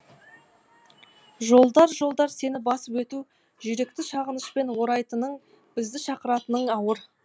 жолдар жолдар сені басып өту жүректі сағынышпен орайтының бізді шақыратының ауыр